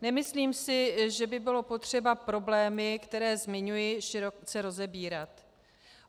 Nemyslím si, že by bylo potřeba problémy, které zmiňuji, široce rozebírat.